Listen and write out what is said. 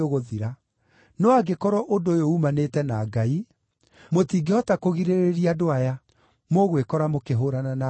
No angĩkorwo ũndũ ũyũ uumanĩte na Ngai, mũtingĩhota kũgirĩrĩria andũ aya; mũgwĩkora mũkĩhũũrana na Ngai.”